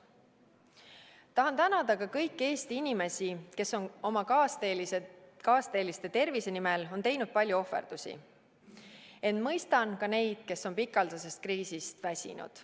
Tahan tänada ka kõiki Eesti inimesi, kes on oma kaasteeliste tervise nimel teinud palju ohverdusi, ent mõistan ka neid, kes on pikaajalisest kriisist väsinud.